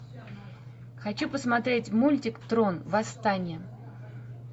хочу посмотреть мультик трон восстание